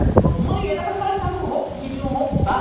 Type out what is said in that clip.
Ele falou, mãe, aí para falar que rou, queriam roubar.